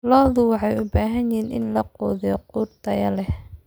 Lo'da waxay u baahan yihiin in la quudiyo quud tayo leh.